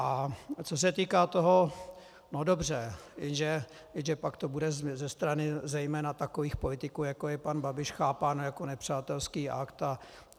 A co se týká toho, no dobře, jenže pak to bude ze strany zejména takových politiků, jako je pan Babiš, chápáno jako nepřátelský akt.